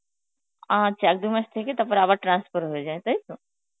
আচ্ছা এক দু মাস থেকে তারপরে আবার transfer হয়ে যায়, তাই তো?